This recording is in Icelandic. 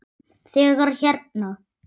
Þegar hérna.